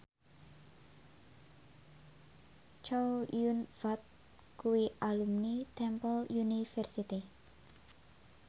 Chow Yun Fat kuwi alumni Temple University